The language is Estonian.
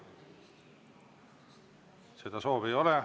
Seda soovi ei ole.